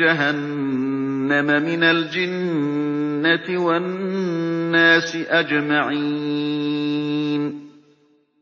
جَهَنَّمَ مِنَ الْجِنَّةِ وَالنَّاسِ أَجْمَعِينَ